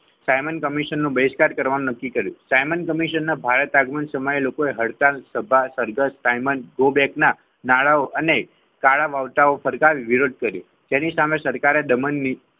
Simon કમિશનનું બહિષ્કાર કરવાનું નક્કી કર્યું સાયમન કમિશનના ભારત આગમન સમાયલોકોએ હડતાલ સભાસરઘસ સાયમન ગો બેક ના નાડાઓ અને કાળા બળતાઓ ફરતા વિરોધ કર્યો તેની સામે સરકારે દમણ નીતિ.